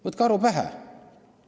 Võtke aru pähe!